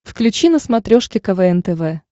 включи на смотрешке квн тв